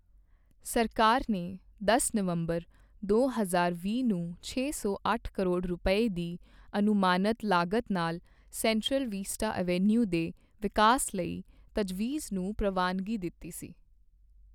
ਸਰਕਾਰ ਨੇ ਦਸ ਨਵੰਬਰ, ਦੋ ਹਜ਼ਾਰ ਵੀਹ ਨੂੰ ਛੇ ਸੌ ਅੱਠ ਕਰੋੜ ਰੁਪਏ, ਦੀ ਅਨੁਮਾਨਤ ਲਾਗਤ ਨਾਲ ਸੈਂਟਰਲ ਵਿਸਟਾ ਐਵੀਨਿਊ ਦੇ ਵਿਕਾਸ ਲਈ ਤਜਵੀਜ਼ ਨੂੰ ਪ੍ਰਵਾਨਗੀ ਦਿੱਤੀ ਸੀ।